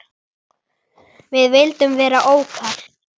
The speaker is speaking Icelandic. Við vildum vera lókal.